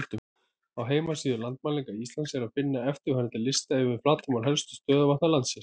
Á heimasíðu Landmælinga Íslands er að finna eftirfarandi lista yfir flatarmál helstu stöðuvatna landsins: